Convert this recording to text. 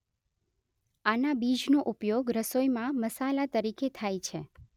આના બીજનો ઉપયોગ રસોઈમાં મસાલા તરીકે થાય છે